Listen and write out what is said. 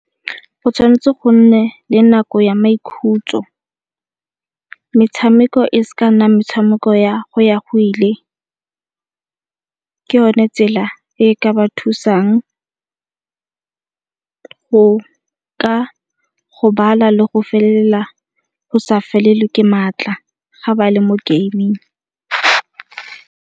Go tshwan'tse go nne le nako ya maikhutso, metshameko e se ka nna metshameko ya go ya go ile. Ke yone tsela e ka ba thusang go ka gobala le go sa felelwa ke maatla ga ba le mo gaming.